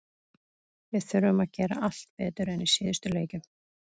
Við þurfum að gera allt betur en í síðustu leikjum.